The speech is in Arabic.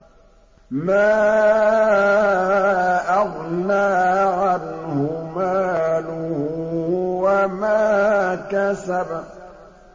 مَا أَغْنَىٰ عَنْهُ مَالُهُ وَمَا كَسَبَ